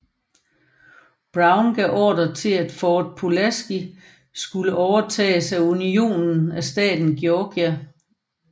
Brown gav ordre til at Fort Pulaski skulle overtages fra Unionen af staten Georgia